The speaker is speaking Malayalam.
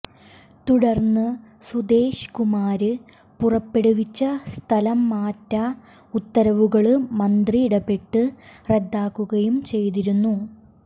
തുടര്ന്ന് സുധേഷ് കുമാര് പുറപ്പെടുവിച്ച സ്ഥലംമാറ്റ ഉത്തരവുകള് മന്ത്രി ഇടപെട്ട് റദ്ദാക്കുകയും ചെയ്തിരുന്നു